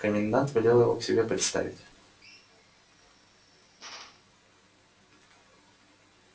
комендант велел его к себе представить